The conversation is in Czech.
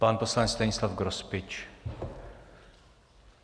Pan poslanec Stanislav Grospič.